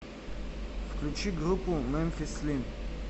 включи группу мемфис слим